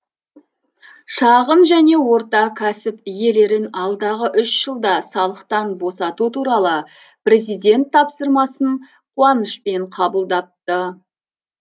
шағын және орта кәсіп иелерін алдағы үш жылда салықтан босату туралы президент тапсырмасын қуанышпен қабылдапты